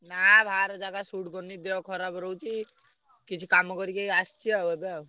ନା ବାହାର ଜାଗା suit କରୁନି ଦେହ ଖରାପ ରହୁଛି। କିଛି କାମ କରିକି ଆସଚି ଆଉ ଏବେ ଆଉ।